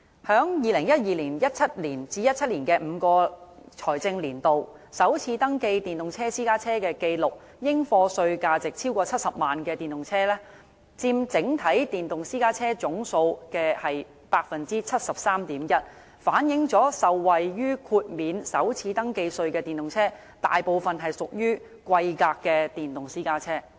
在2012年至2017年的5個財政年度，首次登記電動私家車的紀錄，應課稅價值超過70萬元的電動車，佔整體電動私家車總數的 73.1%， 反映受惠於豁免首次登記稅的電動私家車，大部分屬於貴價的電動私家車。